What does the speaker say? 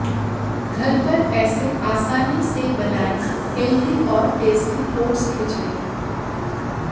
घर पर ऐसे आसानी से बनाएं हेल्दी और टेस्टी ओट्स खिचड़ी